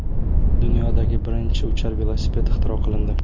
Dunyodagi birinchi uchar velosiped ixtiro qilindi.